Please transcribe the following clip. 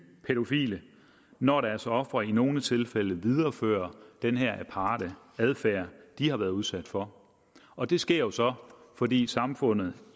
pædofile når deres ofre i nogle tilfælde viderefører den her aparte adfærd de har været udsat for og det sker jo så fordi samfundet